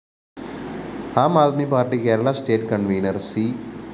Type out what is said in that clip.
Aam Aadmi Party Kerala state convener‍ C